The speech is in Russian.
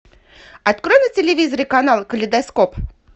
открой на телевизоре канал калейдоскоп